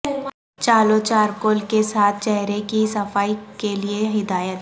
چالو چارکول کے ساتھ چہرے کی صفائی کے لئے ہدایت